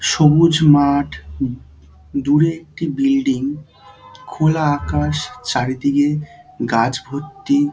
সবুজ মাঠ দূরে একটি বিল্ডিং খোলা আকাশ চারিদিকে গাছ ভর্তি।